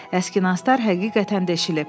Əski nastlar həqiqətən deşilib.